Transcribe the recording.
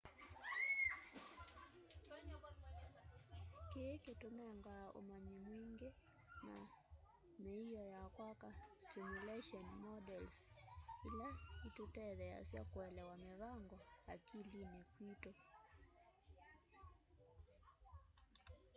kii kitunengaa umanyi mwingi na mioo ya kwaka stimulation models ila itutetheesya kuelewa mivango akilini kwitu